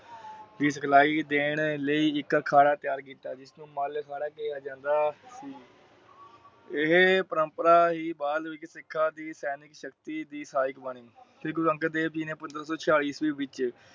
ਦੀ ਸਿਓਖਲਾਈ ਦੇਣ ਲਾਇ ਇੱਕ ਅਖਾੜਾ ਤਿਆਰ ਕੀਤਾ। ਜਿਸ ਤੋਂ ਮੱਲ ਇਹ ਪ੍ਰੰਪਰਾ ਤੋਂ ਬਾਦ ਸਿੱਖਾਂ ਦੀ ਆਧੁਨਿਕ ਸ਼ਕਤੀ ਸਹਾਇਕ ਬਣ ਗਈ। ਸ਼੍ਰੀ ਗੁਰੂ ਅੰਗਦ ਦੇਵ ਜੀ ਨੇ ਪੰਦਰਾਂ ਸੋ ਛਿਆਲੀ ਈਸਵੀ ਵਿੱਚ